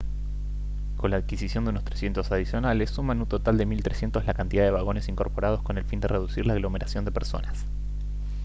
con la adquisición de unos 300 adicionales suman un total de 1300 la cantidad de vagones incorporados con el fin de reducir la aglomeración de personas